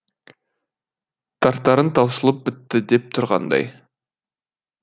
тартарың таусылып бітті деп тұрғандай